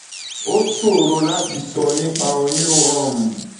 ó ṣòro láti sọ nípa oyún láti um inú àwọn um àmì wọ̀nyí